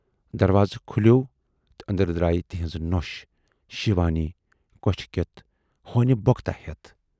دروازٕ کھُلیوو تہٕ ٲندرٕ درایہِ تِہٕنز نۅش شِوانی کۅچھِ کٮ۪تھ ہونہِ بۅکُتا ہٮ۪تھ۔